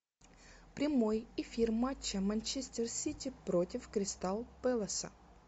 прямой эфир матча манчестер сити против кристал пэласа